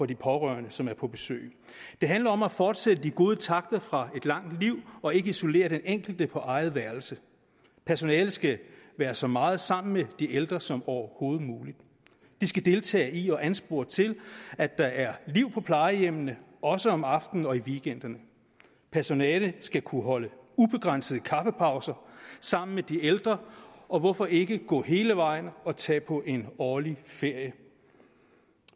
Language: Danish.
de pårørende som er på besøg det handler om at fortsætte de gode takter fra et langt liv og ikke isolere den enkelte på eget værelse personalet skal være så meget sammen med de ældre som overhovedet muligt de skal deltage i og anspore til at der er liv på plejehjemmene også om aftenen og i weekenderne personalet skal kunne holde ubegrænsede kaffepauser sammen med de ældre og hvorfor ikke gå hele vejen og tage på en årlig ferie